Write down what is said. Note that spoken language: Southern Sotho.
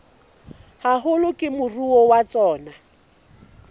haholo ke moruo wa tsona